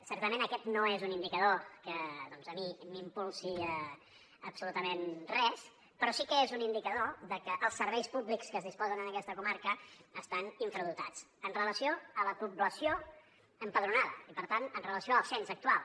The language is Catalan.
certament aquest no és un indicador que doncs a mi m’impulsi absolutament res però sí que és un indicador de que els serveis públics que es disposen en aquesta comarca estan infradotats en relació amb la població empadronada i per tant en relació amb el cens actual